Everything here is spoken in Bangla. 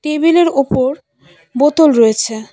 টেবিল -এর ওপর বোতল রয়েছে।